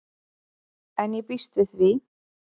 En ég býst við því.